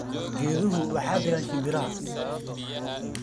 Geeduhu waxay degaan shimbiraha.